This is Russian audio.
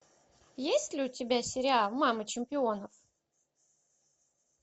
есть ли у тебя сериал мама чемпионов